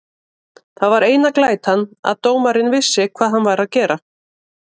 Það var eina glætan að dómarinn vissi hvað hann var að gera.